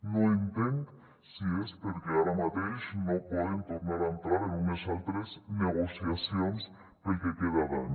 no entenc si és perquè ara mateix no poden tornar a entrar en unes altres negociacions pel que queda d’any